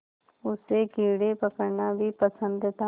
उसे कीड़े पकड़ना भी पसंद था